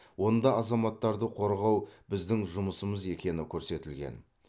онда азаматтарды қорғау біздің жұмысымыз екені көрсетілген